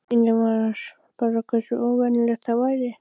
Spurningin var bara hversu óvenjulegt það væri.